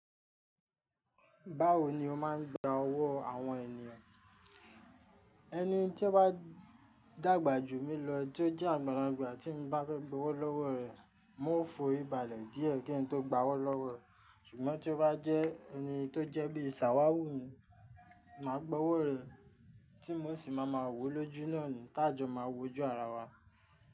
Báwo ni o máà ń gba ọwọ́ àwọn ènìyàn? Ẹni tí o bà dàgbà jù mí lọ tí ó jẹ́ àgbàlagbà tí mo bá fẹ́ gbowó lọ́wọ́ rẹ, m o fòri balẹ̀ díẹ̀ kín tó gba owó lọ́wọ́ re, ṣùgbọ́n tí ó bá jẹ́ ẹni tó jẹ́ bí ṣàwáhù mi, mà á gbowó rẹ̀ tí mo sì máa ma wó lójú náà ni, tá jọ máa wo ojú ara wa.